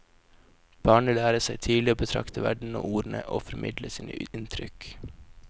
Barnet lærer seg tidlig å betrakte verden og ordne og formidle sine inntrykk.